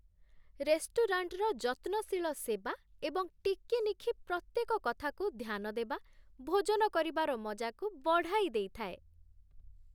ରେଷ୍ଟୁରାଣ୍ଟର ଯତ୍ନଶୀଳ ସେବା ଏବଂ ଚିକିନିଖି ପ୍ରତ୍ୟେକ କଥାକୁ ଧ୍ୟାନ ଦେବା ଭୋଜନ କରିବାର ମଜାକୁ ବଢ଼ାଇଦେଇଥାଏ